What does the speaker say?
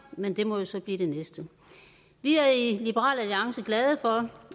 men det må jo så blive det næste vi er i liberal alliance glade for